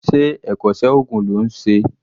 Ṣé ẹ̀kọ́ṣẹ́ oògùn ló ń ṣe?